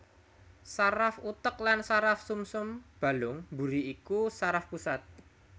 Saraf utek lan saraf sumsum balung mburi iku saraf pusat